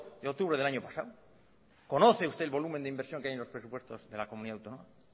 de octubre del año pasado conoce usted el volumen de inversión que hay en los presupuestos de la comunidad autónoma